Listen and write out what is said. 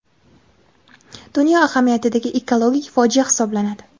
dunyo ahamiyatidagi ekologik fojia hisoblanadi.